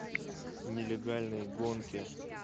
нелегальные гонки